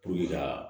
Puruke ka